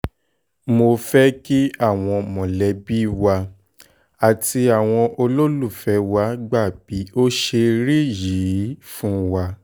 mo fẹ́ kí àwọn mọ̀lẹ́bí wa àti àwọn olólùfẹ́ wa gbà bí ó ṣe rí yìí fún wa